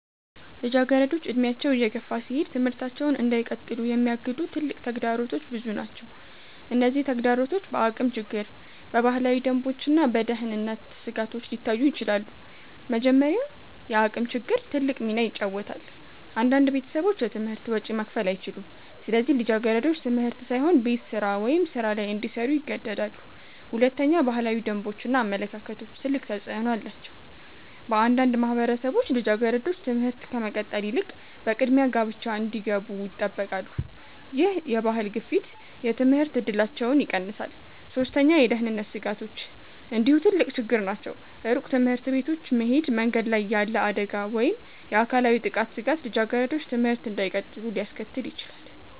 ልጃገረዶች እድሜያቸው እየገፋ ሲሄድ ትምህርታቸውን እንዳይቀጥሉ የሚያግዱ ትልቅ ተግዳሮቶች ብዙ ናቸው። እነዚህ ተግዳሮቶች በአቅም ችግር፣ በባህላዊ ደንቦች እና በደህንነት ስጋቶች ሊታዩ ይችላሉ። መጀመሪያ፣ የአቅም ችግር ትልቅ ሚና ይጫወታል። አንዳንድ ቤተሰቦች የትምህርት ወጪ መክፈል አይችሉም፣ ስለዚህ ልጃገረዶች ትምህርት ሳይሆን ቤት ስራ ወይም ሥራ ላይ እንዲሰሩ ይገደዳሉ። ሁለተኛ፣ ባህላዊ ደንቦች እና አመለካከቶች ትልቅ ተፅዕኖ አላቸው። በአንዳንድ ማህበረሰቦች ልጃገረዶች ትምህርት ከመቀጠል ይልቅ በቅድሚያ ጋብቻ እንዲገቡ ይጠበቃሉ። ይህ የባህል ግፊት የትምህርት እድላቸውን ይቀንሳል። ሶስተኛ፣ የደህንነት ስጋቶች እንዲሁ ትልቅ ችግር ናቸው። ሩቅ ትምህርት ቤቶች መሄድ፣ መንገድ ላይ ያለ አደጋ ወይም የአካላዊ ጥቃት ስጋት ልጃገረዶች ትምህርት እንዳይቀጥሉ ሊያስከትል ይችላል።